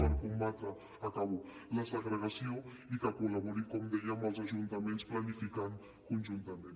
per combatre acabo la segregació i que col·labori com deia amb els ajuntaments planificant conjuntament